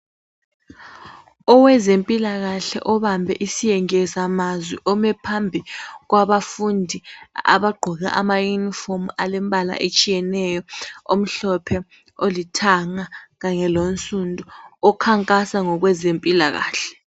Owezempilakahle obambe isiyengeza mazwi ome phambi kwabafundi abagqoke amayunifomu alembala etshiyeneyo omhlophe, olithanga kanye lonsundu okhankasa ngokwezempilakahle.